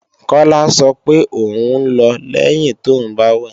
Kọ́lá sọ pé ò ń lọ lẹ́yin tóùn bá wẹ̀